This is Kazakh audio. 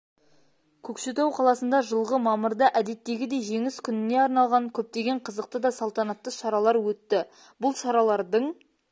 көкшетау қаласында жылғы мамырда әдеттегідей жеңіс күніне арналған көптеген қызықты да салтанатты шаралар өтті бұл шаралардың